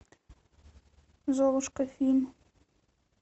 золушка фильм